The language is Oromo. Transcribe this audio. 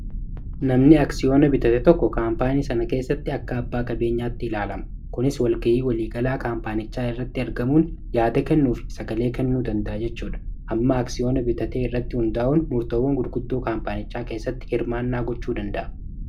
namni aksiyoona bitate tokko kaampaanii sana keessatti akka abbaa qabeenyaatti ilaalama kunis walgayii waliigalaa kaampaanichaa irratti ergamuun yaada kennuu fi sagalee kennuu danda'a jechuudha amma aksiyoona bitatee irratti hundaa'uun murtoowwan gurguddoo kaampaanichaa keessatti hirmaannaa gochuu danda'a